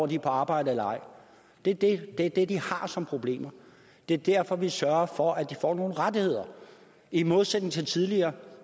de er på arbejde eller ej det det er det de har som problemer det er derfor vi sørger for at de får nogle rettigheder i modsætning til tidligere